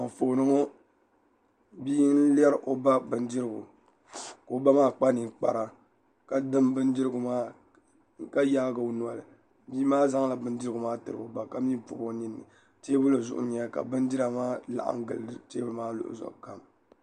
Anfooni ŋo bia n lɛri o ba bindirigu ka o ba maa kpa ninkpara ka dim bindirigu maa ka yaagi o noli bia maa zaŋla bindirigu maa tiri o ba ka mii pobi o ninni teebuli zuɣu n nyɛli ka bindira maa laɣam gili teebuli maa luɣuli zuɣu kam